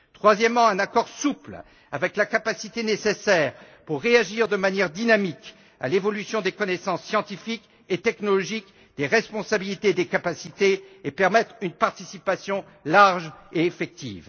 Troisièmement, un accord souple avec la capacité nécessaire pour réagir de manière dynamique à l'évolution des connaissances scientifiques et technologiques, des responsabilités et des capacités et permettre une participation large et effective.